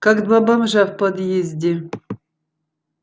как два бомжа в подъезде